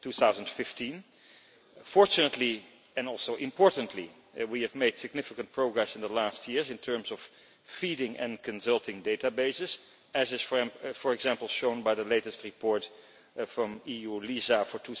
2015. Fortunately and also importantly we have made significant progress in recent years in terms of feeding and consulting databases, as is for example shown by the latest report from eu LISA for